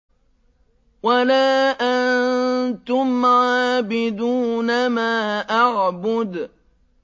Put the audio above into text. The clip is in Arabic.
وَلَا أَنتُمْ عَابِدُونَ مَا أَعْبُدُ